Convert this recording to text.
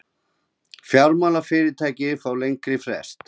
Fjármálafyrirtæki fá lengri frest